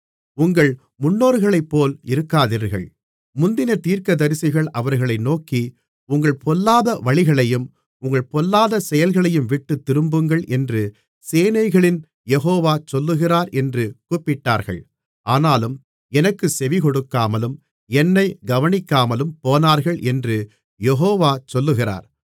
உங்கள் முன்னோர்களைப்போல் இருக்காதீர்கள் முந்தின தீர்க்கதரிசிகள் அவர்களை நோக்கி உங்கள் பொல்லாத வழிகளையும் உங்கள் பொல்லாத செயல்களையும்விட்டுத் திரும்புங்கள் என்று சேனைகளின் யெகோவா சொல்லுகிறார் என்று கூப்பிட்டார்கள் ஆனாலும் எனக்குச் செவிகொடுக்காமலும் என்னைக் கவனிக்காமலும் போனார்கள் என்று யெகோவா சொல்லுகிறார்